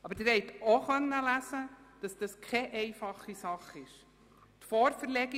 Wie Sie ebenfalls lesen konnten, wird dies keine einfache Sache sein.